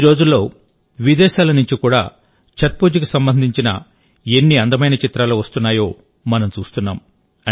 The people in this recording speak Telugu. ఈ రోజుల్లో విదేశాల నుంచి కూడా ఛత్ పూజకు సంబంధించిన ఎన్ని అందమైన చిత్రాలు వస్తున్నాయో మనం చూస్తున్నాం